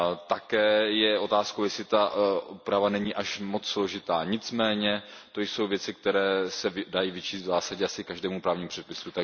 Také je otázkou, jestli ta úprava není až moc složitá, nicméně to jsou věci, které se dají vyčíst v zásadě asi každému právnímu předpisu.